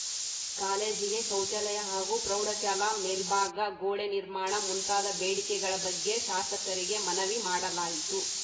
ಕಾಲೇಜಿಗೆ ಶೌಚಾಲಯ ಹಾಗೂ ಪ್ರೌಢಶಾಲಾ ಮೇಲ್ಭಾಗ ಗೋಡೆ ನಿರ್ಮಾಣ ಮುಂತಾದ ಬೇಡಿಕೆಗಳ ಬಗ್ಗೆ ಶಾಸಕರಿಗೆ ಮನವಿ ಮಾಡಲಾಯಿತು